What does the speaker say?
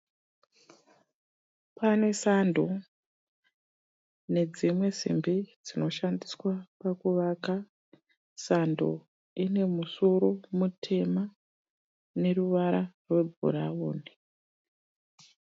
Pane sando nedzimwe simbi dzinoshandiswa pakuvaka. Sando ine musoro mutema neruvara rwebhurauni.